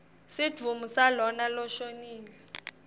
sidvumbu salona loshonile